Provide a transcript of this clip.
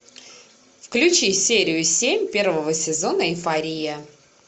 включи серию семь первого сезона эйфория